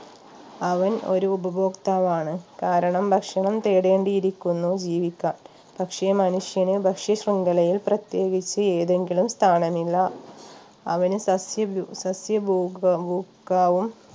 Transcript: അവൻ ഒരു ഉപഭോക്താവാണ് കാരണം ഭക്ഷണം തേടേണ്ടിയിരിക്കുന്നു ജീവിക്കാൻ പക്ഷേ മനുഷ്യന് ഭക്ഷ്യ ശൃംഖലയിൽ പ്രത്യേകിച്ച് ഏതെങ്കിലും സ്ഥാനമില്ല അവന് സസ്യഭു സസ്യഭൂഗോ ഭുക്കായും